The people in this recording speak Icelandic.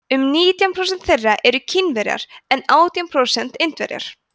um nítján prósent þeirra eru kínverjar en átján prósent indverjar